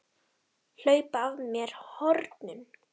Hlaupa af mér hornin.